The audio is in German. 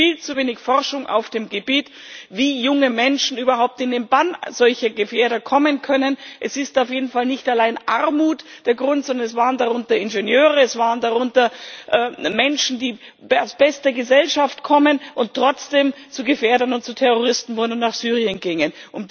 Es gibt viel zu wenig Forschung auf dem Gebiet, wie junge Menschen überhaupt in den Bann solcher Gefährder kommen können. Es ist auf jeden Fall nicht allein Armut der Grund, sondern es waren darunter Ingenieure, es waren darunter Menschen, die aus bester Gesellschaft kommen und trotzdem zu Gefährdern und Terroristen wurden und nach Syrien gingen.